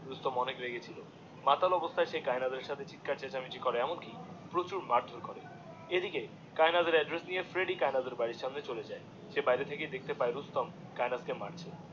রুস্তম অনেক রেগে ছিল মাতাল অবস্থায় সে কায়েনাথের সাথে চিৎকার চেঁচামিচি করে এমন কি প্রচার মার্ ধরে করে এদিকে কায়েনাথ এর এড্রেস নিয়ে ফ্রেড্ডি কায়েনাথের বাড়িরই মনে চলে যায় স বাইরে থেকেই দেখতে পায়ে যে রুস্তম কায়েনাথ কে মার্চে